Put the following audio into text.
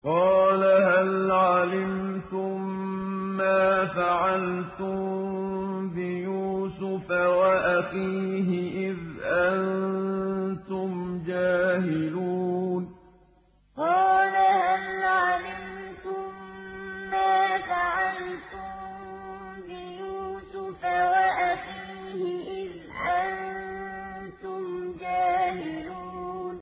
قَالَ هَلْ عَلِمْتُم مَّا فَعَلْتُم بِيُوسُفَ وَأَخِيهِ إِذْ أَنتُمْ جَاهِلُونَ قَالَ هَلْ عَلِمْتُم مَّا فَعَلْتُم بِيُوسُفَ وَأَخِيهِ إِذْ أَنتُمْ جَاهِلُونَ